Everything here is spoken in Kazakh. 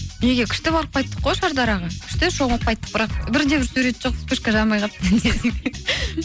неге күшті барып қайттық қой шардараға күшті шомылып қайттық бірақ бірде бір сурет жоқ вспышка жанбай қалыпты